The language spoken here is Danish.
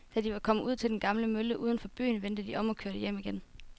Da de var kommet ud til den gamle mølle uden for byen, vendte de om og kørte hjem igen.